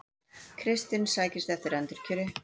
Kristinn sækist eftir endurkjöri